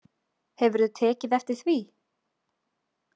Hefurðu tekið eftir því?